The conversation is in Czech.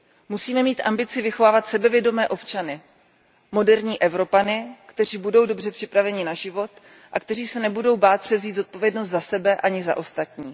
Musíme mít ambici vychovávat sebevědomé občany, moderní Evropany, kteří budou dobře připraveni na život a kteří se nebudou bát převzít zodpovědnost za sebe ani za ostatní.